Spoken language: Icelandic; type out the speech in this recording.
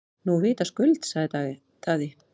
Nú vitaskuld, sagði Daði.